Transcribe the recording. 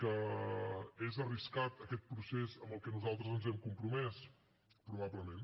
que és arriscat aquest procés amb el que nosaltres ens hem compromès probablement